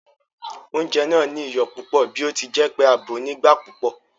Oúnjẹ náà ní iyọ̀ púpò bí ọtíjẹpé a bòó nígbà púpò